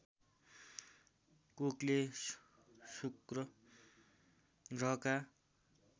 कुकले शुक्र ग्रहका